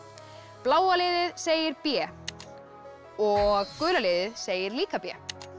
bláa liðið segir b og gula liðið segir líka b